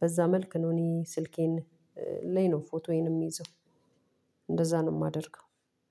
በዛ መልክ ነው። እኔ ስልኬን ላይ ነው ፎቶዬን የምይዘው። እንደዛ ነው የማደርገው